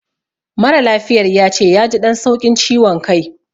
Mara lafiyar yace yaji ɗan sauƙin ciwan kai